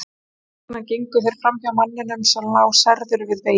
Þess vegna gengu þeir framhjá manninum sem lá særður við veginn.